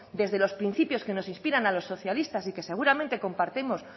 desde los principios que nos inspiran a los socialistas y que seguramente compartimos